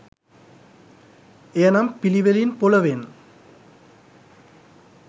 එය නම් පිළිවෙලින් පොළොවෙන්